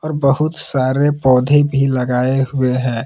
बहुत सारे पौधे भी लगाए हुए है।